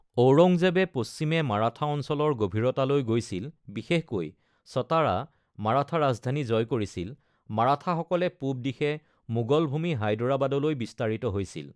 ঔৰংজেবে পশ্চিমে, মাৰাঠা অঞ্চলৰ গভীৰতালৈ গৈছিল, বিশেষকৈ সতাৰা (মাৰাঠা ৰাজধানী) জয় কৰিছিল, মাৰাঠাসকলে পূৱদিশে মোগল ভূমি হায়দৰাবাদলৈ বিস্তাৰিত হৈছিল।